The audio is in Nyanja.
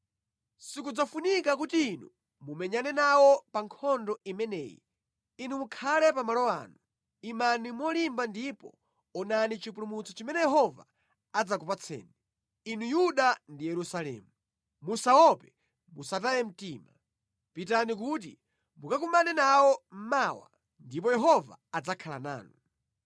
Sikudzafunika kuti Inu mumenyane nawo pa nkhondo imeneyi. Inu mukhale pa malo anu; imani molimba ndipo onani chipulumutso chimene Yehova adzakupatsani, Inu Yuda ndi Yerusalemu. Musaope, musataye mtima. Pitani kuti mukakumane nawo mawa, ndipo Yehova adzakhala nanu.’ ”